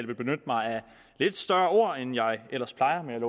vil benytte mig af lidt større ord end jeg ellers plejer men